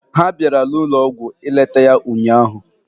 Ha bịara n'ụlọọgwụ ileta ya ụnyaahụ.